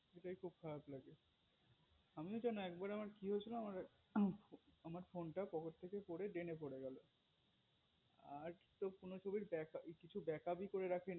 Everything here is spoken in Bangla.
খুব খারাপ লাগে আমিও যেনো একবার আমার কি হয়েছিল আমার phone টা পকেট থেকে পরে Drain গেলো আর কোনো কিছু তো break up করেই রাখিনি